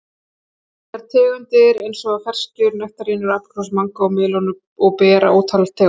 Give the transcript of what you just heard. Þetta eru tegundir eins og ferskjur, nektarínur, apríkósur, mangó, melónur og ber af ótal tegundum.